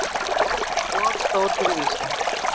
Of stór fyrir Ísland.